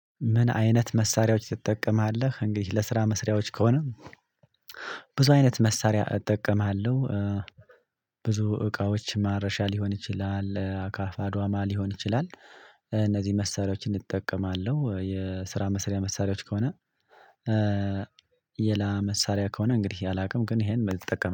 ምን አይነት መሳሪያዎች ትጠቀማለህ? እንግዲህ ለስራ መስሪያዎች ከሆነ ብዙ አይነት መሳሪያ እጠቀማለሁ። ብዙ እቃዎች ማረሻ ሊሆን ይችላል አካፋ ዶማ ሊሆን ይችላል። እነዚህ መሳሪያዎች እንጠቀማለሁ የስራ መስሪያ መሳሪያዎች ከሆነ። ሌላ መሳሪያ ከሆነ እንግዲህ አላውቅም ግን ይሄን መጠቀም